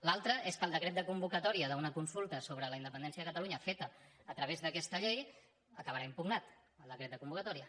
l’altra és que el decret de convocatòria d’una consulta sobre la independència de catalunya feta a través d’aquesta llei acabarà impugnat el decret de convocatòria